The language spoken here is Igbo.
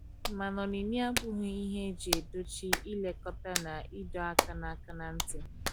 mana onyinye abụghi ihe eji edochi ilekota na idọ aka na aka na nti